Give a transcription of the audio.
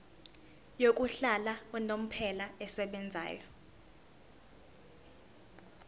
yokuhlala unomphela esebenzayo